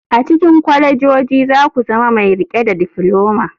A cikin kwalejoji za ku zama mai riƙe da difloma.